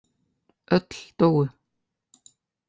Öll dóu.